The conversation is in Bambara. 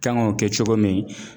Kan ŋ'o kɛ cogo min